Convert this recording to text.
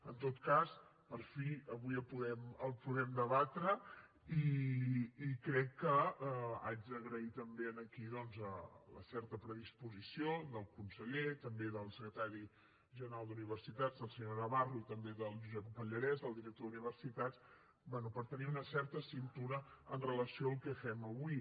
en tot cas per fi avui el podem debatre i crec que haig d’agrair també aquí doncs la certa predisposició del conseller també del secretari general d’universitats el senyor navarro i també del josep pallarès del director d’universitats bé per tenir una certa cintura en relació amb el que fem avui